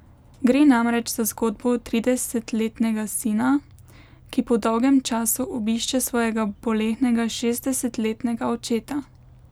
Gre namreč za zgodbo tridesetletnega sina, ki po dolgem času obišče svojega bolehnega šestdesetletnega očeta.